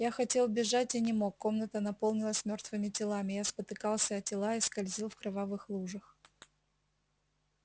я хотел бежать и не мог комната наполнилась мёртвыми телами я спотыкался о тела и скользил в кровавых лужах